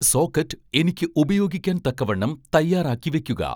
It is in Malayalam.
സോക്കറ്റ് എനിക്ക് ഉപയോഗിക്കാൻ തക്കവണ്ണം തയ്യാറാക്കി വെക്കുക